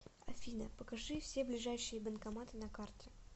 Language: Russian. афина покажи все ближайшие банкоматы на карте